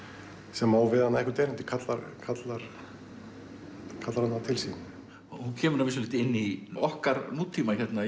sem á við hana eitthvert erindi kallar kallar kallar hana til sín hún kemur að vissu leyti inn í okkar nútíma hérna í